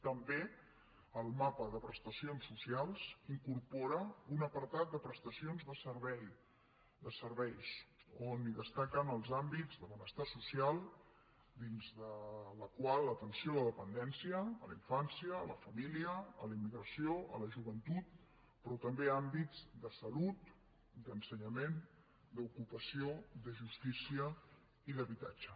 també el mapa de prestacions socials incorpora un apartat de prestacions de serveis on destaquen els àmbits de benestar social dins del qual l’atenció a la dependència a la infància a la família a la immigració a la joventut però també àmbits de salut d’ensenyament d’ocupació de justícia i d’habitatge